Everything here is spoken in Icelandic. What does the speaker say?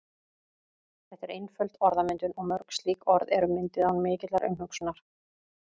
Þetta er einföld orðmyndun og mörg slík orð eru mynduð án mikillar umhugsunar.